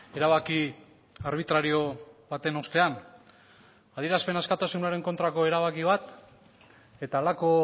erabaki arbitrario baten ostean adierazpen askatasunaren kontrako erabaki bat eta halako